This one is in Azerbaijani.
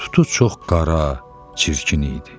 Tutu çox qara, çirkin idi.